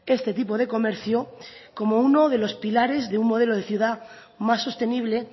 este tipo de comercio como uno de los pilares de un modelo de ciudad más sostenible